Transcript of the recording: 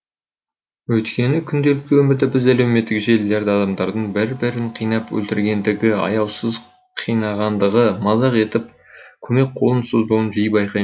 өйткені күнделікті өмірде біз әлеуметтік желілерді адамдардың бір бірін қинап өлтіргендігі аяусыз қинағандығы мазақ етіп көмек қолын созбауын жиі байқаймыз